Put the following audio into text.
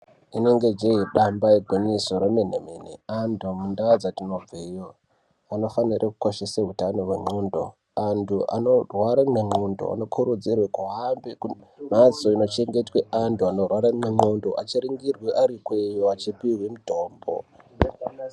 Inonge jee damba igwinyiso remene mene antu mundau dzatinobveyo munofanire kukoshese hutano hwendxoko, antu anorwara nendxondo anokurudzirwe kuhambe kumhatso inochengetwe anorwara nendxondo achiringirwe arikweyo achipihwe mutombo.